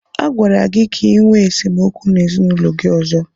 Agwara gị ka ịnwe esemokwu n'ezinaụlọ gị ọzọ!